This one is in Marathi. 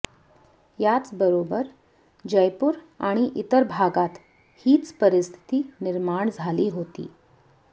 याच बरोबर जयपूर आणि इतर भागात हीच परिस्थिती निर्माण झाली होती